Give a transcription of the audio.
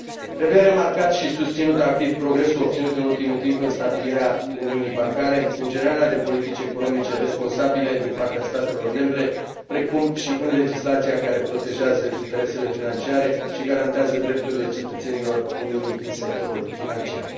Trebuie remarcat și susținut activ progresul obținut în ultimul timp în stabilirea uniunii bancare, în generarea de politici economice responsabile din partea statelor membre, precum și în legislația care protejează interesele financiare și garantează drepturile cetățenilor Uniunii în sectorul financiar.